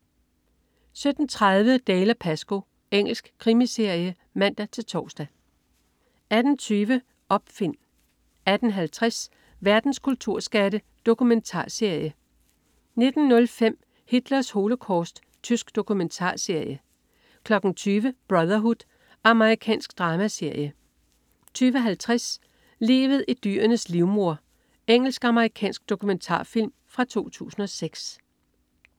17.30 Dalziel & Pascoe. Engelsk krimiserie (man-tors) 18.20 Opfind 18.50 Verdens kulturskatte. Dokumentarserie 19.05 Hitlers holocaust. Tysk dokumentarserie 20.00 Brotherhood. Amerikansk dramaserie 20.50 Livet i dyrenes livmoder. Engelsk-amerikansk dokumentarfilm fra 2006